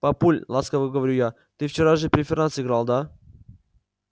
папуль ласково говорю я ты вчера же преферанс играл да